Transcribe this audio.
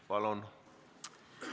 Palun!